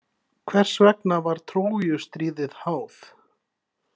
Hvers vegna var Trójustríðið háð?